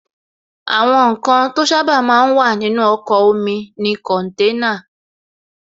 Àwọn ǹkan to sábà máa ń wà nínú ọkọ̀ omi ni kọ̀nténà